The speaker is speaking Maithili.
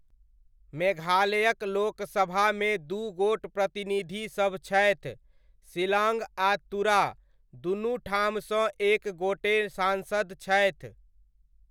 मेघालयक लोकसभामे दू गोट प्रतिनिधिसभ छथि, शिलाङ्ग आ तुरा दुनू ठामसँ एक एक गोटे सान्सद छथि।